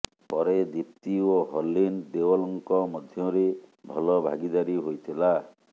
ପରେ ଦୀପ୍ତି ଓ ହର୍ଲିନ୍ ଦେଓଲ୍ଙ୍କ ମଧ୍ୟରେ ଭଲ ଭାଗିଦାରୀ ହୋଇଥିଲା